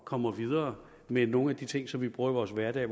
kommer videre med nogle af de ting som vi bruger i vores hverdag